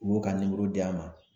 U b'u ka d'a ma